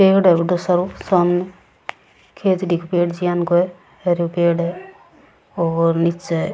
पेड़ है बड़ो सारो सामने खेजड़ी के पेड़ ज्यान को है हरियो पेड़ है और नीचे --